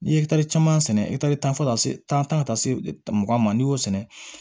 N'i ye caman sɛnɛ tan fɔ ka taa se tan tan ka taa se mugan ma n'i y'o sɛnɛ